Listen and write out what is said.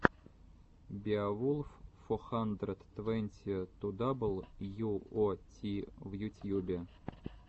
беовулф фо хандрэд твэнти ту дабл ю о ти в ютьюбе